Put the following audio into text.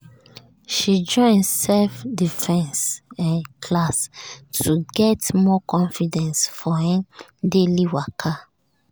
she join self-defense um class to get more confidence for um daily waka.